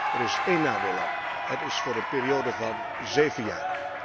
Er is één nadeel aan het is voor een periode van zeven jaar.